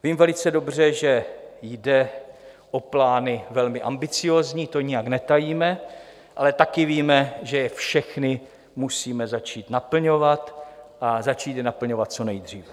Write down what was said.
Vím velice dobře, že jde o plány velmi ambiciózní, to nijak netajíme, ale taky víme, že je všechny musíme začít naplňovat, a začít je naplňovat co nejdříve.